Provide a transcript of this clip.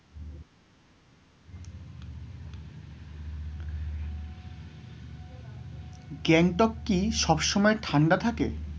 গ্যাংটক কি সব সময় ঠান্ডা থাকে?